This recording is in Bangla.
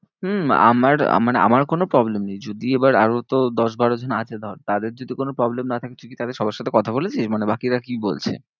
হম আমার আমার আমার কোনো problem নেই। যদি এবার আরো তো দশ বারো জন আছে ধর তাদের যদি কোনো problem না থাকে তুই তাদের সবার সাথে কথা বলেছিস? মানে বাকিরা কি বলছে?